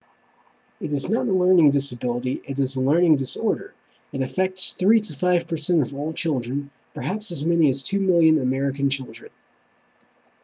it is not a learning disability it is a learning disorder it affects 3 to 5% of all children perhaps as many as 2 million american children